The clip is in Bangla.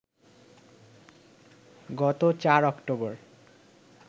গত ৪ অক্টোবর